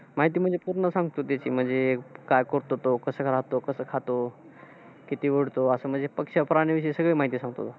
माहिती म्हणजे पूर्ण सांगतो त्याची, म्हणजे, काय करतो तो? कसं राहतो? कसं खातो? किती ओढतो? असं म्हणजे पक्ष प्राणी विषयी सगळी माहिती सांगतो तो.